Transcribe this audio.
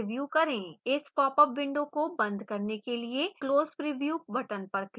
इस popup window को बंद करने के लिए close preview button पर click करें